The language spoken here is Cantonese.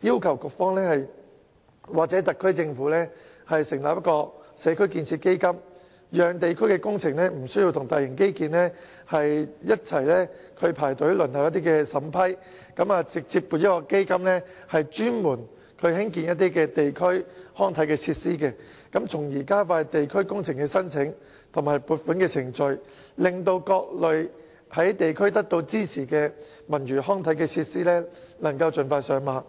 要求局方或特區政府成立"社區建設基金"，讓地區工程無需與大型基建工程一同排隊輪候審批，而是直接向一個專門興建地區康設施的基金提出申請，從而加快地區工程申請及撥款程序，使各類獲地區支持的文娛康體設施能盡快上馬。